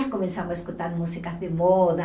Já começamos a escutar músicas de moda.